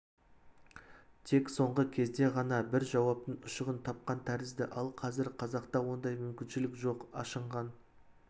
тек соңғы кезде ғана бір жауаптың ұшығын тапқан тәрізді ал қазір қазақта ондай мүмкіншілік жоқ ашынған